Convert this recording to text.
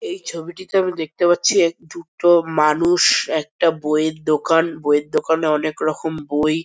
এই ছবিটিতে আমি দেখতে পাচ্ছি এক দুটো মানুষ একটা বইয়ের দোকান বইয়ের দোকানে অনেক রকম এর বই।